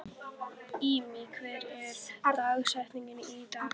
Immý, hver er dagsetningin í dag?